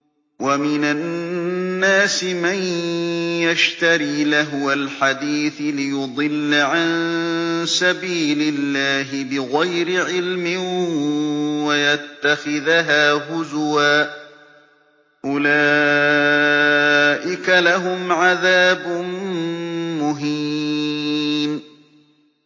وَمِنَ النَّاسِ مَن يَشْتَرِي لَهْوَ الْحَدِيثِ لِيُضِلَّ عَن سَبِيلِ اللَّهِ بِغَيْرِ عِلْمٍ وَيَتَّخِذَهَا هُزُوًا ۚ أُولَٰئِكَ لَهُمْ عَذَابٌ مُّهِينٌ